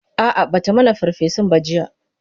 a'a Bata mana ferfesun ba jiya